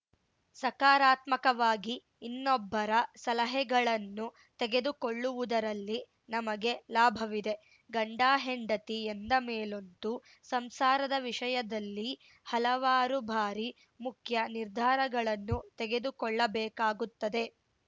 ಸಕಾರಾತ್ಮಕವಾಗಿ ಇನ್ನೊಬ್ಬರ ಸಲಹೆಗಳನ್ನು ತೆಗೆದುಕೊಳ್ಳುವುದರಲ್ಲಿ ನಮಗೇ ಲಾಭವಿದೆ ಗಂಡಹೆಂಡತಿ ಎಂದ ಮೇಲಂತೂ ಸಂಸಾರದ ವಿಷಯದಲ್ಲಿ ಹಲವಾರು ಬಾರಿ ಮುಖ್ಯ ನಿರ್ಧಾರಗಳನ್ನು ತೆಗೆದುಕೊಳ್ಳಬೇಕಾಗುತ್ತದೆ